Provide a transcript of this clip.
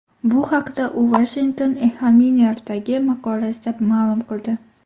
Bu haqda u Washington Examiner’dagi maqolasida ma’lum qildi .